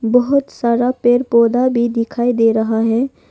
बहुत सारा पेड़ पौधा भी दिखाई दे रहा है।